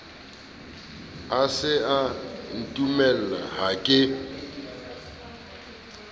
e sa ntumella ha ke